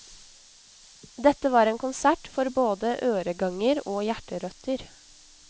Dette var en konsert for både øreganger og hjerterøtter.